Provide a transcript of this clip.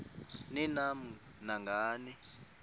ni nam nangani